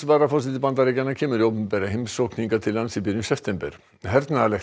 varaforseti Bandaríkjanna kemur í opinbera heimsókn hingað til lands í byrjun september hernaðarlegt